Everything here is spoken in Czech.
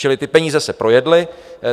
Čili ty peníze se projedly.